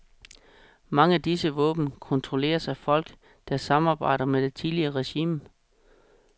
Mange af disse våben kontrolleres af folk, der samarbejdede med det tidligere regime.